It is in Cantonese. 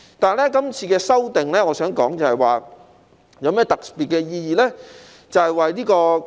但是，這次的修訂，我想說的是有何特別的意義呢？